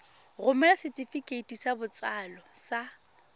romela setefikeiti sa botsalo sa